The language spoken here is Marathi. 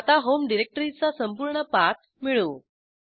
आता homeडिरेक्टरीचा संपूर्ण पाथ मिळवू